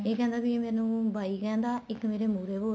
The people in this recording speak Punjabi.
ਇਹ ਕਹਿੰਦਾ ਵੀ ਮੈਨੂੰ ਭਾਈ ਕਹਿੰਦਾ ਇੱਕ ਮੇਰੇ ਮੁਹਰੇ ਬੋਲਦਾ